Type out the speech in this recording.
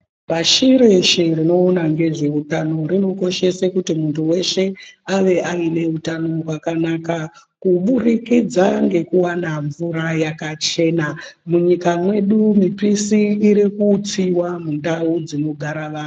Pashi reshe rinoona ngezveutano ,rinokoshese kuti muntu weshe ,ave aine utano hwakanaka, kuburikidza ngekuwana mvura yakachena. Munyika mwedu mipisi iri kutsiwa mundau dzinogara vanhu.